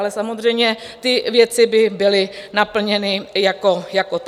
Ale samozřejmě, ty věci by byly naplněny jako takové.